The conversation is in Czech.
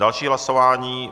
Další hlasování.